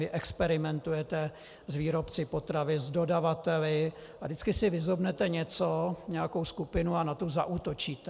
Vy experimentujete s výrobci potravin, s dodavateli a vždycky si vyzobnete něco, nějakou skupinu, a na tu zaútočíte.